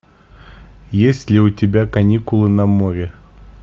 есть ли у тебя каникулы на море